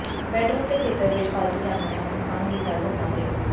bedroom ਦੇ ਖੇਤਰ ਵਿੱਚ ਪਾਲਤੂ ਜਾਨਵਰਾਂ ਨੂੰ ਖਾਣ ਦੀ ਇਜਾਜ਼ਤ ਨਾ ਦਿਉ